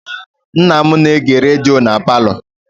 Nna m na-ege redio na palọ.